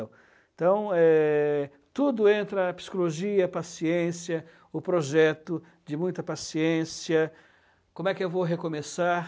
Então, eh... tudo entra, a psicologia, a paciência, o projeto de muita paciência, como é que eu vou recomeçar...